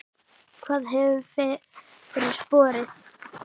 Hvað hefur fyrir borið?